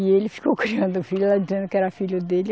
E ele ficou criando o filho, ela dizendo que era filho dele.